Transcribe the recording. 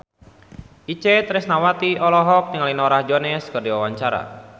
Itje Tresnawati olohok ningali Norah Jones keur diwawancara